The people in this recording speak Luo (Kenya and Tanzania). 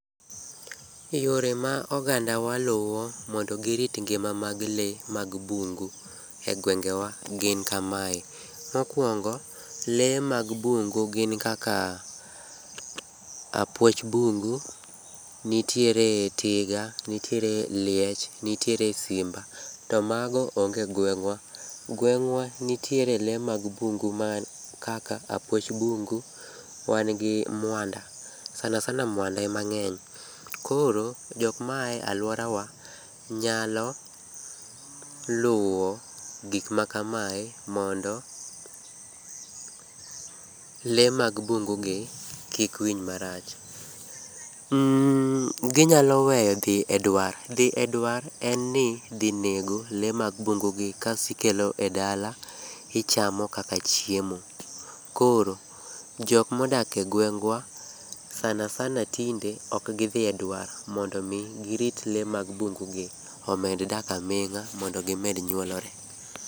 Yore ma ogandawa luwo mondo girit lee mag bungu gin kama. Mokuongo, lee mag bungu gin kaka apwoch bungu, nitiere tiga, nitiere liech nitiere simba. To mago onge egweng'wa. Gweng'wa nitiere lee mag bungu mag kaka apwoch bungu, wan gi mwanda. Sana sana mwanda ema ng'eny. Koro jok maa e alworawa nyalo luwo gik makamae mondo lee mag bungugi kik winj marach. Mm ginyalo weyo dhi edwar. Dhi edwar en ni dhi nego lee mag bungugi kasto ikelo edala, ichamo kaka chiemo. Koro jok modak egweng'wa sana sana tinde ok gidhi edwar mondo mi girit lee mag bungu gi omed dak aming'a mondo gimed nyuolore.